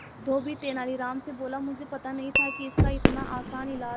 धोबी तेनालीराम से बोला मुझे पता नहीं था कि इसका इतना आसान इलाज है